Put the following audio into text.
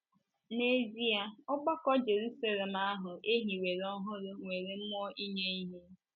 N’ezie, ọgbakọ Jeruselem ahụ e hiwere ọhụrụ nwere mmụọ inye ihe!